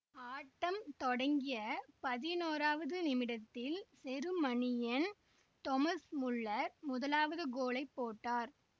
ஆட்டம் தொடங்கிய பதினோராவது நிமிடத்தில் செருமனியின் தொமஸ் முல்லர் முதலாவது கோலை போட்டார்